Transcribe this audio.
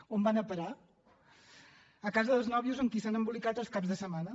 on van a parar a casa dels nòvios amb qui s’han embolicat els caps de setmana